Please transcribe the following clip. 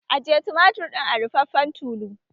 Ajiye tumatir ɗin a ruffafen tulu!